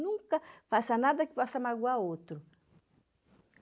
Nunca faça nada que possa magoar o outro.